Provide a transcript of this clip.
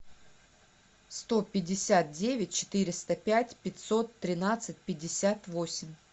сто пятьдесят девять четыреста пять пятьсот тринадцать пятьдесят восемь